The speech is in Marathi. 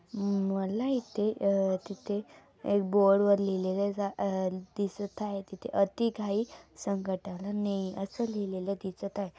हम्म मला इथे अ तिथे एक बोर्ड वर लिहलेल अ दिसत आहे तीथे अति घाई संकटाला नेई असे लिहिलेलं दिसत आहे.